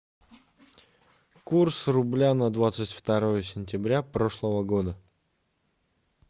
курс рубля на двадцать второе сентября прошлого года